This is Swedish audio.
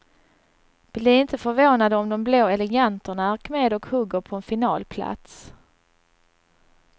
Bli inte förvånade om de blå eleganterna är med och hugger på en finalplats.